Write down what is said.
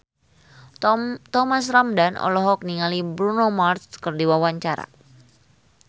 Thomas Ramdhan olohok ningali Bruno Mars keur diwawancara